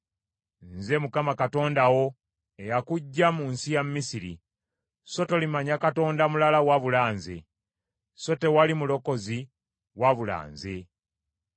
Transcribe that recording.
“Nze Mukama Katonda wo eyakuggya mu nsi ya Misiri; so tolimanya Katonda mulala wabula nze, so tewali mulokozi wabula nze.